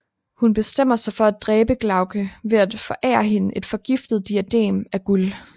Hun bestemmer sig for at dræbe Glavke ved at forære hende et forgiftet diadem af guld